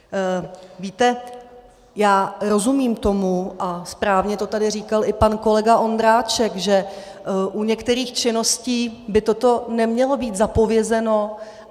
Víte, já rozumím tomu, a správně to tady říkal i pan kolega Ondráček, že u některých činností by toto nemělo být zapovězeno.